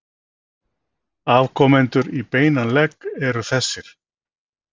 Afkomendur í beinan legg eru þessir